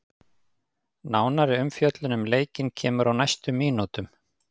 Nánari umfjöllun um leikinn kemur á næstu mínútum.